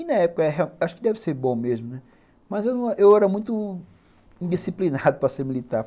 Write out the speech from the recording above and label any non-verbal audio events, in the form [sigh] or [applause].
E na época, acho que deve ser bom mesmo, mas eu era muito indisciplinado [laughs] para ser militar.